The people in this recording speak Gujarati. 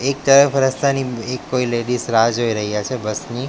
એક તરફ રસ્તાની એક કોઈ લેડીઝ રાહ જોઈ રહ્યા છે બસ ની.